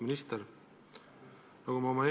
Auväärt minister!